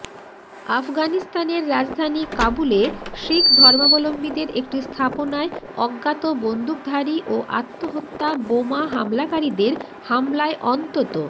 আফগানিস্তানের রাজধানী কাবুলে শিখ ধর্মাবলম্বীদের একটি স্থাপনায় অজ্ঞাত বন্দুকধারী ও আত্মহত্যা বোমা হামলাকারীদের হামলায় অন্তত